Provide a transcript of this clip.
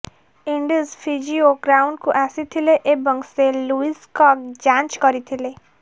Indies physio ଗ୍ରାଉଣ୍ଡକୁ ଆସିଥିଲେ ଏବଂ ସେ ଲୁଇସଙ୍କ ଯାଞ୍ଚ କରିଥିଲେ